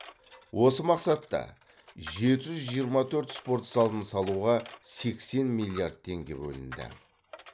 осы мақсатта жеті жүз жиырма төрт спорт залын салуға сексен миллиард теңге бөлінді